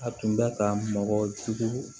A tun bɛ ka mɔgɔ jugu